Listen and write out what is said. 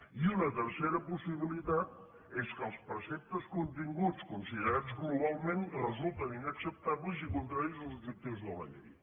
i una tercera possibilitat és que els preceptes continguts considerats globalment resulten inacceptables i contraris als objectius de la llei